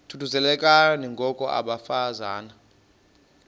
thuthuzelekani ngoko bafazana